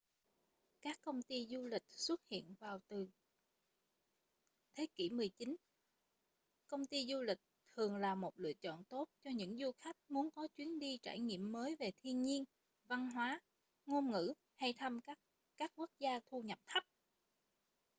các công ty du lịch xuất hiện vào khoảng từ thế kỷ 19 công ty du lịch thường là một lựa chọn tốt cho những du khách muốn có chuyến đi trải nghiệm mới về thiên nhiên văn hóa ngôn ngữ hay thăm các quốc gia thu nhập thấp